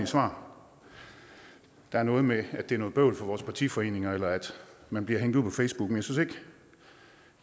svar det er noget med at det er noget bøvl for vores partiforeninger eller at man bliver hængt ud på facebook men